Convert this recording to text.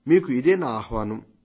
మీరు ఇదే నా ఆహ్వానం